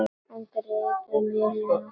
Hann greip um vélina.